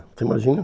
Você imagina?